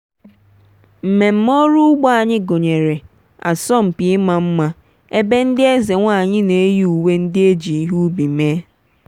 mmemme ọrụ ugbo anyị gụnyere asọmpi ịma mma ebe ndị eze nwanyị na-eyi uwe ndị e ji ihe ubi mee.